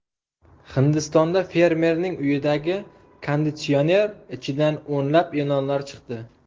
Hindistonda fermerning uyidagi konditsioner ichidan o‘nlab ilonlar chiqdi.